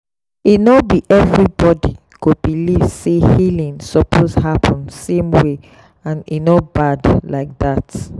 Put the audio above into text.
e no be everybody go believe say healing suppose happen same way and e no bad like that.